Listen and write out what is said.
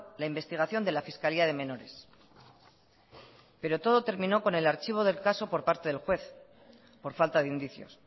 la investigación de la fiscalía de menores pero todo terminó con el archivo del caso por parte del juez por falta de indicios